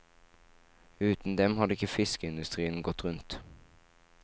Uten dem hadde ikke fiskeindustrien gått rundt.